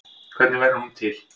Hvernig verður hún til?